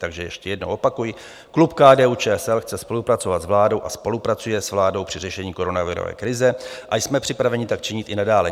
Takže ještě jednou opakuji, klub KDU-ČSL chce spolupracovat s vládou a spolupracuje s vládou při řešení koronavirové krize a jsme připraveni tak činit i nadále.